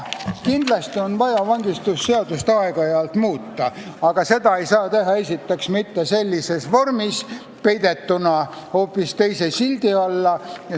Kindlasti on vaja vangistusseadust aeg-ajalt muuta, aga seda ei saa teha esiteks sellises vormis, peidetuna hoopis teise sildi taha.